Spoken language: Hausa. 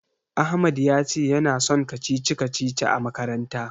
Ahmad ya ce yana son kacici-kacicici a makaranta.